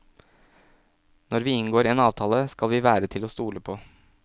Når vi inngår en avtale, skal vi være til å stole på.